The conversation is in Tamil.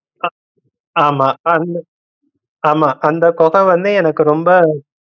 அஹ் ஆமாம் அந்த ஆமாம் அந்த கொகை வந்து எனக்கு ரொம்ப